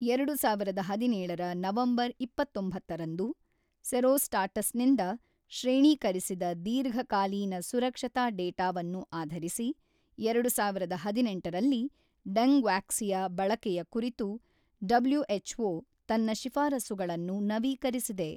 ಎರಡು ಸಾವಿರದ ಹದಿನೇಳರ ನವೆಂಬರ್ ಇಪ್ಪತೊಂಬತ್ತರಂದು ಸೆರೊಸ್ಟಾಟಸ್‌ನಿಂದ ಶ್ರೇಣೀಕರಿಸಿದ ದೀರ್ಘಕಾಲೀನ ಸುರಕ್ಷತಾ ಡೇಟಾವನ್ನು ಆಧರಿಸಿ, ಎರಡ ಸಾವಿರದ ಹದಿನೆಂಟರಲ್ಲಿ ಡೆಂಗ್‌ವಾಕ್ಸಿಯಾ ಬಳಕೆಯ ಕುರಿತು ಡಬ್ಲುಎಚ್‌ಓ ತನ್ನ ಶಿಫಾರಸುಗಳನ್ನು ನವೀಕರಿಸಿದೆ.